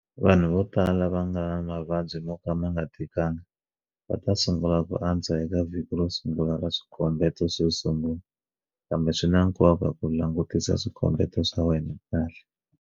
Vanhu vo tala lava va nga na mavabyi mo ka ma nga tikanga va ta sungula ku antswa eka vhiki ro sungula ra swikombeto swo sungula, kambe swi na nkoka ku langutisa swikombeto swa wena kahle.